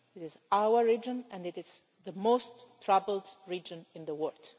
it is our region and it is the most troubled region in the world.